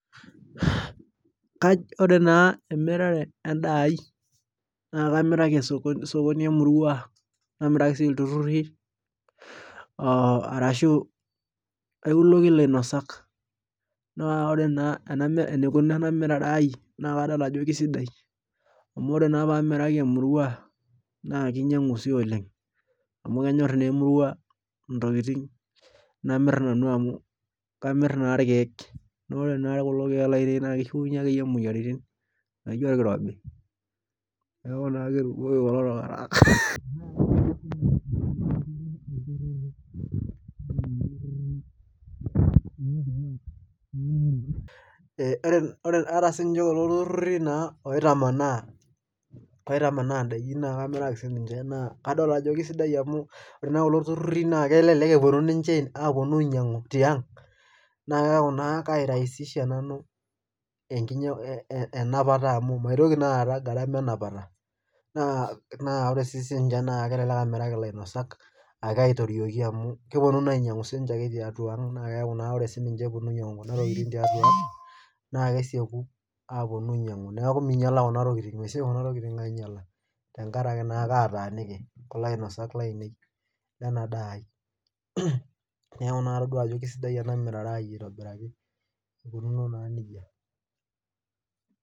ore naa emirare edaai ai, na kamiraki sokoni emurua, namiraki sii iltururi arashu kailoki ilanosak, naa ore na enkinuno ena unore aai, naa kadol ajo kisidai amu ore naa pee amiraki oleng, amu kenyor naa emurua ntokitn, amu kamir naa irkek, naa ore naa irkeek kishunye akeyi